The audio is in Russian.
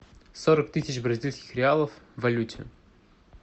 сорок тысяч бразильских реалов в валюте